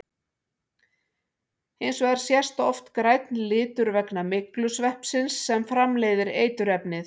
Hins vegar sést oft grænn litur vegna myglusveppsins sem framleiðir eiturefnið.